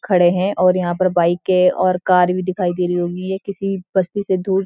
खड़े हैं और यहाँ पर बाइकें और कार भी दिखई दे रही होगीं ये किसी बस्ती से दूर --